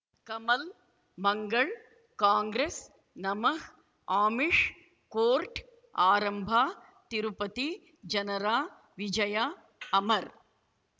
ಕಮಲ್ ಮಂಗಳ್ ಕಾಂಗ್ರೆಸ್ ನಮಃ ಅಮಿಷ್ ಕೋರ್ಟ್ ಆರಂಭ ತಿರುಪತಿ ಜನರ ವಿಜಯ ಅಮರ್